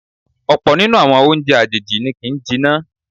Ọ̀pọ̀ nínú àwọn oúnjẹ àjèjì ni kì ń jiná.